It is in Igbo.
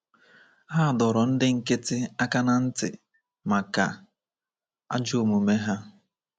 Ha dọrọ ndị nkịtị aka ná ntị maka ajọ omume ha.